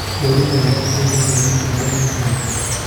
Kwĩrutĩra nĩ gũteithagia mũtũũrĩre wa andũ.